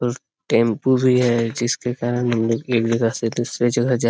tempo भी है जिसके कारण हम लोग एक जगह से दूसरे जगह जा --